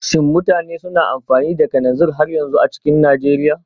Do people still use kerosene in Nigeria?